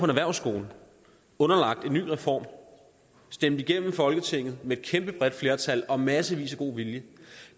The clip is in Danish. erhvervsskole underlagt en ny reform stemt igennem folketinget med et kæmpe bredt flertal og massevis af god vilje